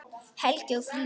Helgi og Fríða.